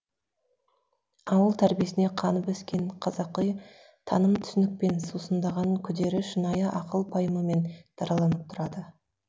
ауыл тәрбиесіне қанып өскен қазақи таным түсінікпен сусындаған күдері шынайы ақыл пайымымен дараланып тұрады